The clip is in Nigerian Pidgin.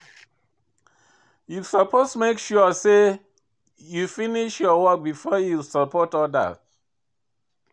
You suppose make sure sey you finish your work before you support odas.